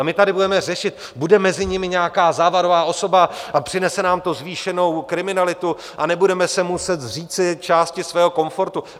A my tady budeme řešit - bude mezi nimi nějaká závadová osoba a přinese nám to zvýšenou kriminalitu a nebudeme se muset zříci části svého komfortu?